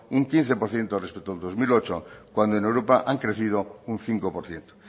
un quince por ciento respecto al dos mil ocho cuando en europa han crecido un cinco por ciento